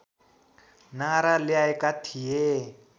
नारा ल्याएका थिए